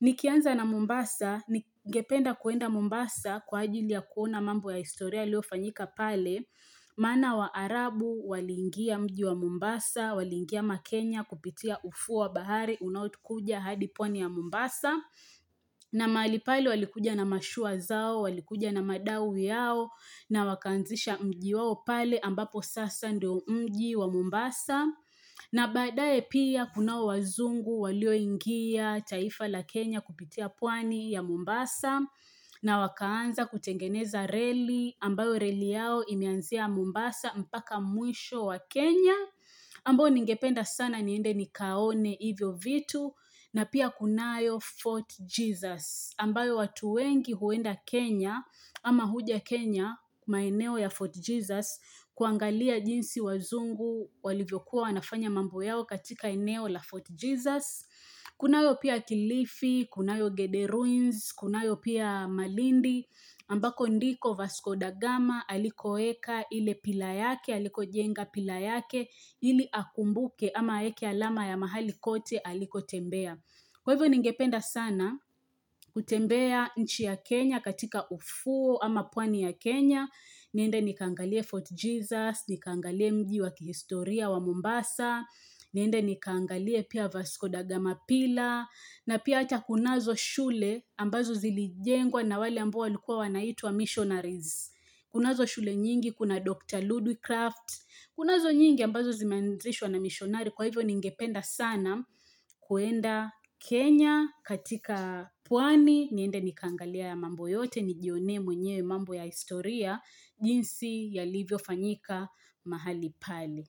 Nikianza na Mombasa, ningependa kuenda Mombasa kwa ajili ya kuona mambo ya historia yaliyofanyika pale, maana waarabu waliingia mji wa Mombasa, waliingia makenya kupitia ufuo wa bahari, unaokuja hadi pwani ya Mombasa, na mahali pale walikuja na mashua zao, walikuja na madawi yao, na wakaanzisha mji wao pale ambapo sasa ndio mji wa Mombasa. Na badaye pia kunao wazungu walioingia taifa la Kenya kupitia pwani ya Mombasa na wakaanza kutengeneza reli ambayo reli yao imeanzia Mombasa mpaka mwisho wa Kenya ambayo ningependa sana niende nikaone hivyo vitu na pia kunayo Fort Jesus ambayo watu wengi huenda Kenya ama huja Kenya, maeneo ya Fort Jesus kuangalia jinsi wazungu walivyokuwa wanafanya mambo yao katika eneo la Fort Jesus, Kunayo pia kilifi, kunayo Gede Ruins, kunayo pia malindi ambako ndiko Vasco Dagama alikoeka ile pillar yake, alikojenga pillar yake ili akumbuke ama aeke alama ya mahali kote alikotembea. Kwa hivyo ningependa sana kutembea nchi ya Kenya katika ufuo ama pwani ya Kenya niende nikaangalie Fort Jesus, nikaangalie mji wa kihistoria wa Mombasa, niende nikaangalie pia Vasco Dagama pillar, na pia hata kunazo shule ambazo zilijengwa na wale ambao walikuwa wanaitwa missionaries. Kunazo shule nyingi, kuna Dr. Ludwicraft, kunazo nyingi ambazo zimeanzishwa na missionari kwa hivyo ningependa sana kuenda Kenya katika pwani, niende nikaangalie haya mambo yote, nijionee mwenyewe mambo ya historia. Jinsi yalivyofanyika mahali pale.